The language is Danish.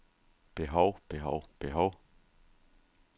behov behov behov